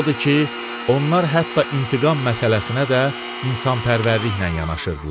Odur ki, onlar hətta intiqam məsələsinə də insanpərvərliklə yanaşırdılar.